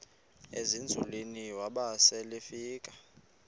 ezinzulwini waba selefika